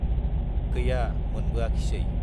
गैया मोनबोआखिसै।